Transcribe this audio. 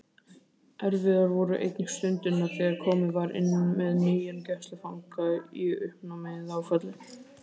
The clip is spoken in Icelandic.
Erfiðar voru einnig stundirnar þegar komið var inn með nýjan gæslufanga í uppnámi eða áfalli.